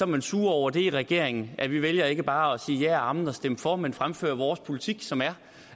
man sure over det i regeringen at vi vælger ikke bare at sige ja og amen og stemme for men fremfører vores politik som er